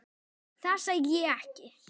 Það sagði ég ekki